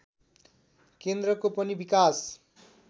केन्द्रको पनि विकास